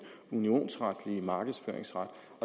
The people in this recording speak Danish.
unionsretlige markedsføringsret